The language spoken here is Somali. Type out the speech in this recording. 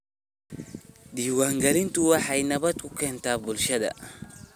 Diiwaangelintu waxay nabad ku keentaa bulshada.